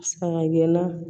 Saga gɛnna